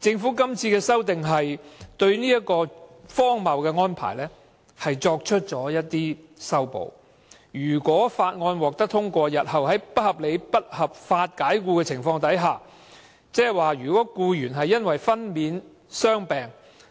政府今次提出的《條例草案》對這荒謬安排略作修補，如果《條例草案》獲得通過，日後僱員遭不合理及不合法解僱時，即如果僱員因為分娩、傷病、